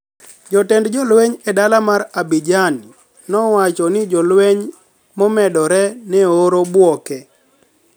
jatend jolweniy e dala mar Abidjani nowacho nii jolweniy momedore ni e oor Bouake.